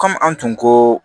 Kɔmi an tun ko